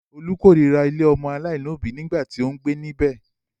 Olú kórira ilé ọmọ aláìlóòbí nígbà tí ó ń gbé níbẹ̀.